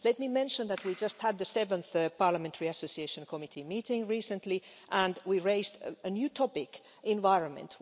Let me mention that we just had the seventh Parliamentary Association Committee meeting recently and we raised a new topic environment.